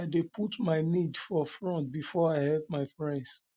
i dey put my need for front before i help me friends